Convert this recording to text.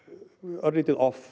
örlítið off